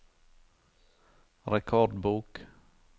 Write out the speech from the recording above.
rekordbok